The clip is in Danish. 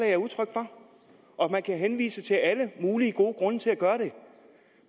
er udtryk for man kan henvise til alle mulige gode grunde til at gøre